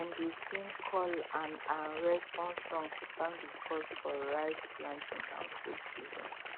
dem dey sing call and um response song to thank the gods for rice planting and fruit season